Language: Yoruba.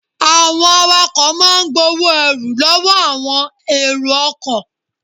Àwọn awakọ̀ máa ń gbowó ẹrù lọ́wọ́ àwọn èrò ọkọ̀.